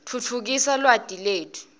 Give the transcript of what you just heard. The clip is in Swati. titfutfukisa lwati letfu